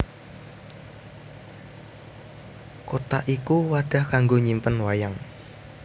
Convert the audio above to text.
Kothak iku wadah kanggo nyimpen wayang